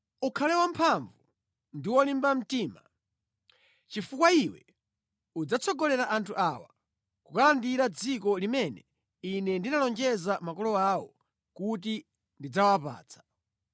“Ukhale wamphamvu ndi wolimba mtima, chifukwa iwe udzatsogolera anthu awa kukalandira dziko limene Ine ndinalonjeza makolo awo kuti ndidzawapatsa.